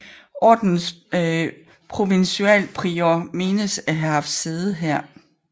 Ordenens provincialprior menes at have haft sit sæde her